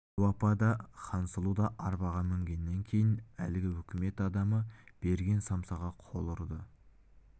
дәу апа да хансұлу да арбаға мінгеннен кейін әлгі үкімет адамы берген самсаға қол ұрды